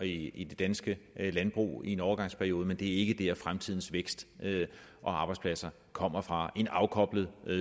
i i det danske landbrug i en overgangsperiode men det er ikke dér fremtidens vækst og arbejdspladser kommer fra fra en afkoblet